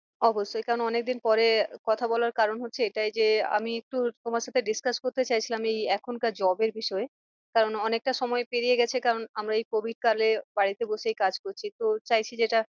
অবশ্যই কারণ অনেক দিন পরে কথা বলার কারণ হচ্ছে এটাই যে আমি একটু তোমার সাথে discuss করতে চাই ছিলাম এই এখনকার job এর বিষয়ে। কারণ অনেকটা সময় পেরিয়ে গেছে কারণ আমরা এই covid কালে বাড়িতে বসেই কাজ করছি তো চাইছি যেটা